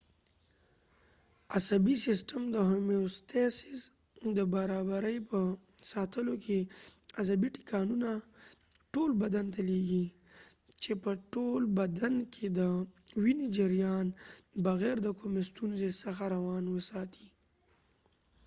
عصبی سیستم د هومیوستیسس د برابری په ساتلو کې عصبی ټکانونه ټول بدن ته لیږی چې په تول بدن کې د وينی جریان بغیر د کومي ستونزی څخه روان وساتي